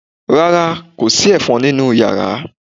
Rárá, kò sí ẹ̀fọn nínú yàrá